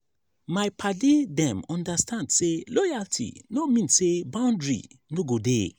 my paddy dem understand sey loyalty no mean sey boundary no go dey.